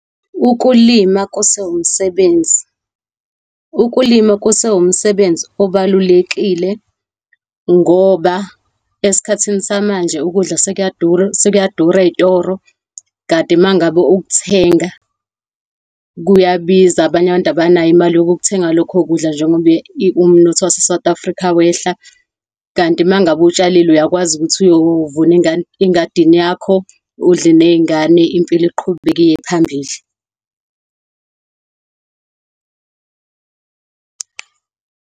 Ukulima kusewumsebenzi, ukulima kusewumsebenzi obalulekile ngoba esikhathini samanje ukudla sekuyadura ey'toro. Kanti mangabe ukuthenga kuyabiza, abanye abantu abanayo imali yokukuthenga lokho kudla njengoba umnotho waseSouth Africa wehla. Kanti mangabe utshalile uyakwazi ukuthi uyovuna engadini yakho, udle ney'ngane. Impilo iqhubeke iye phambili.